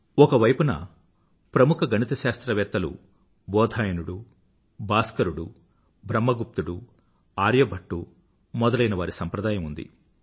ఒకవైపున ప్రముఖ గణిత శాస్త్రవేత్త బోధాయనుడు భాస్కరుడు బ్రహ్మ గుప్తుడు ఆర్యభట్టు మొదలైనవారి సంప్రదాయం ఉంది